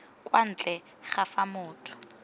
kwa ntle ga fa motho